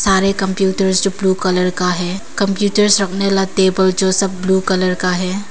सारे कंप्यूटर्स जो blue colour का है कंप्यूटर्स रखने वाला टेबल जो सब ब्लू कलर का है।